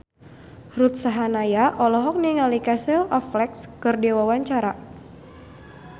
Ruth Sahanaya olohok ningali Casey Affleck keur diwawancara